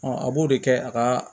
a b'o de kɛ a ka